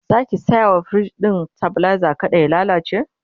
Zaki saya wa firij ɗin stabilizer kada ya lallace?